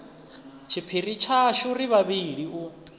tshiphiri tshashu ri vhavhili u